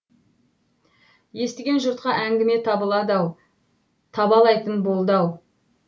естіген жұртқа әңгіме табылды ау табалайтын болды ау